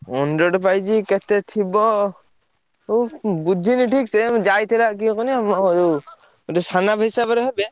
price କେତେ ଥିବ। ବୁଝିନି ଠିକ୍ ସେ। ମୁଁ ଯାଇଥିଲା କିଏ କୁହନି ମୋ ଯୋଉ ଗୋଟେ ସନାପା ହିସାବରେ ହେବେ,